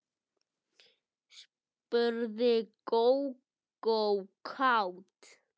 spurði Gógó kát.